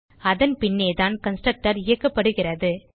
அதன் பின்னேதான் கன்ஸ்ட்ரக்டர் இயக்கப்படுகிறது